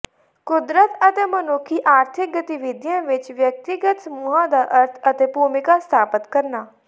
ਕੁਦਰਤ ਅਤੇ ਮਨੁੱਖੀ ਆਰਥਿਕ ਗਤੀਵਿਧੀਆਂ ਵਿਚ ਵਿਅਕਤੀਗਤ ਸਮੂਹਾਂ ਦਾ ਅਰਥ ਅਤੇ ਭੂਮਿਕਾ ਸਥਾਪਤ ਕਰਨਾ